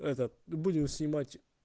этот будем снимать